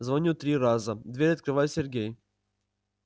звоню три раза дверь открывает сергей